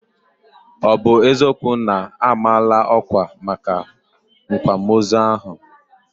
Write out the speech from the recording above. Ọ bụ eziokwu na a maala ọkwà maka akwamozu ahụ?